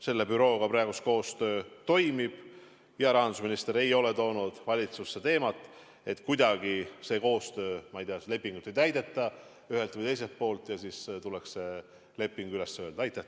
Selle bürooga praegu koostöö toimib ja rahandusminister ei ole toonud valitsusse teemat, et seda koostöölepingut ühelt või teiselt poolt ei täidetaks ja et see leping tuleks üles öelda.